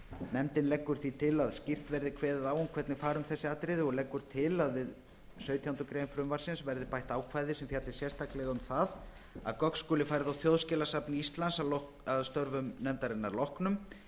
nefndin leggur því til að skýrt verði kveðið á um hvernig fari um þessi atriði og leggur til að við sautjándu grein frumvarpsins verði bætt ákvæði sem fjalli sérstaklega um það að gögn skuli færð á þjóðskjalasafn íslands að störfum nefndarinnar loknum